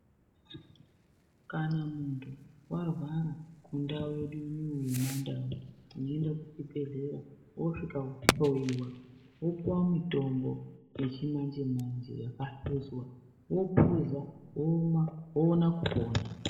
Kana muntu warwara mundau yedu inoiyi yemaNdau, unoenda kuchibhedhlera woosvika wohloyiwa, wopuwa mutombo yechimanje-manje yakahluzwa, wophuza, woona kupona.